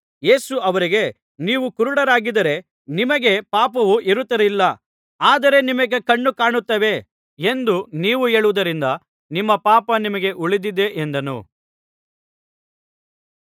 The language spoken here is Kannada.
ಯೇಸು ಅವರಿಗೆ ನೀವು ಕುರುಡರಾಗಿದ್ದರೆ ನಿಮಗೆ ಪಾಪವು ಇರುತ್ತಿರಲಿಲ್ಲ ಆದರೆ ನಿಮಗೆ ಕಣ್ಣುಕಾಣುತ್ತವೆ ಎಂದು ನೀವು ಹೇಳುವುದರಿಂದ ನಿಮ್ಮ ಪಾಪ ನಿಮಗೆ ಉಳಿದಿದೆ ಎಂದನು